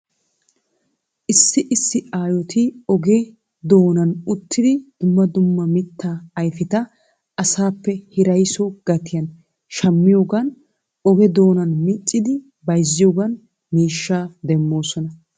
Issi issi aayoti oge doonan uttidi dumma dumma mitaa ayfeta asaappe hiraysso gatiyan shamiyoogan oge doonan miccidi bayziyoogan miishshaa demoosona.